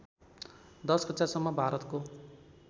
१० कक्षासम्म भारतको